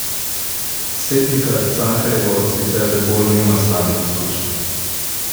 S Setnikar Cankarjevo sicer Rebolj nima slabih izkušenj.